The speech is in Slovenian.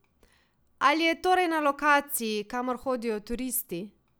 Ali je torej na lokaciji, kamor hodijo turisti?